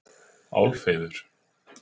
Álfheiður